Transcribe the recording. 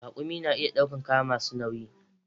Raƙumi na iya ɗaukan kaya masu nauyi